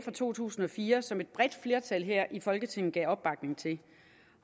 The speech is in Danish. to tusind og fire som et bredt flertal her i folketinget gav opbakning til